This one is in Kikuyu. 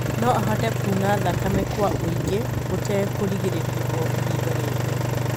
No ahote kuuna thakame kwa ũinge gutekuĩrĩgĩrĩruo o ihinda riothe.